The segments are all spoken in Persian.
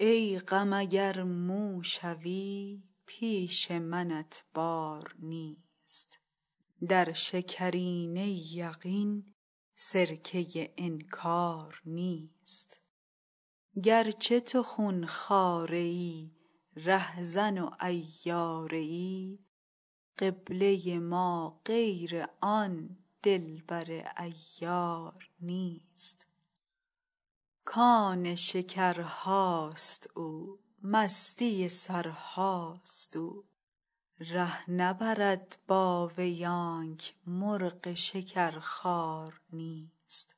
ای غم اگر مو شوی پیش منت بار نیست در شکرینه یقین سرکه انکار نیست گر چه تو خون خواره ای رهزن و عیاره ای قبله ما غیر آن دلبر عیار نیست کان شکرهاست او مستی سرهاست او ره نبرد با وی آنک مرغ شکرخوار نیست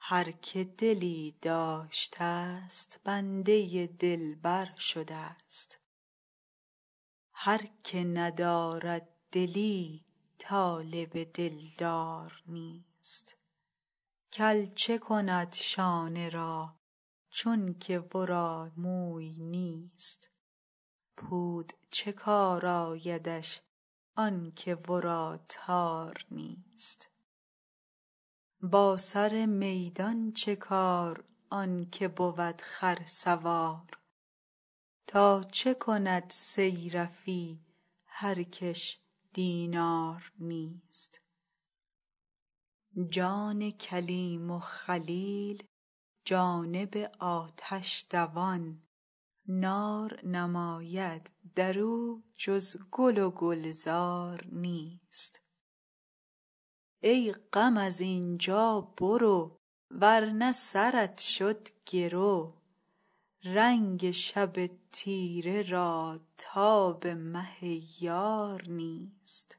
هر که دلی داشتست بنده دلبر شدست هر که ندارد دلی طالب دلدار نیست کل چه کند شانه را چونک ورا موی نیست پود چه کار آیدش آنک ورا تار نیست با سر میدان چه کار آن که بود خرسوار تا چه کند صیرفی هر کش دینار نیست جان کلیم و خلیل جانب آتش دوان نار نماید در او جز گل و گلزار نیست ای غم از این جا برو ور نه سرت شد گرو رنگ شب تیره را تاب مه یار نیست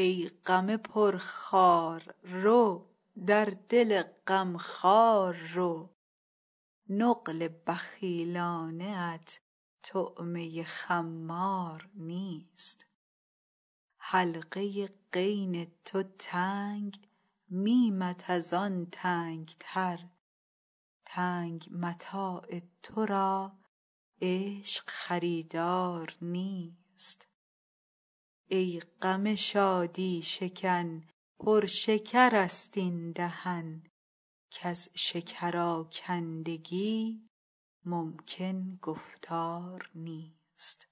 ای غم پرخار رو در دل غم خوار رو نقل بخیلانه ات طعمه خمار نیست حلقه غین تو تنگ میمت از آن تنگ تر تنگ متاع تو را عشق خریدار نیست ای غم شادی شکن پر شکرست این دهن کز شکرآکندگی ممکن گفتار نیست